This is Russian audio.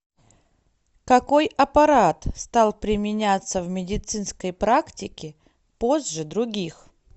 какой аппарат стал применяться в медицинской практике позже других